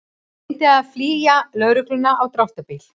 Reyndi að flýja lögregluna á dráttarbíl